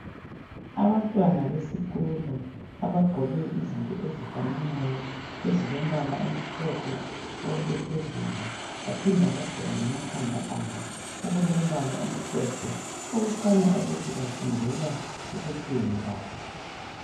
Abantwana besikolo abagqoke izinto ezifananayo ezilombala omhlophe konke phezulu. Baphinda bagqoka lemakhanda abokulombala omhlophe okukhanya ukuthi bafundela ukupheka.